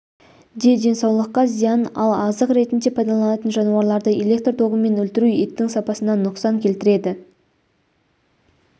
де денсаулыққа зиян ал азық ретінде пайдаланатын жануарларды элекр тогымен өлтіру еттің сапасына нұқсан келтіреді